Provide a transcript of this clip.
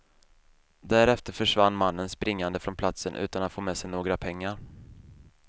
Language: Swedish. Därefter försvann mannen springande från platsen utan att få med sig några pengar.